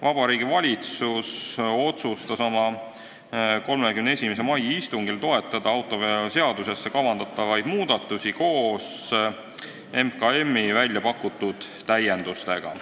Vabariigi Valitsus otsustas oma 31. mai istungil toetada autoveoseaduses kavandatavaid muudatusi koos MKM-i pakutud täiendustega.